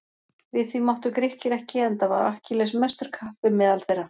Við því máttu Grikkir ekki enda var Akkilles mestur kappi meðal þeirra.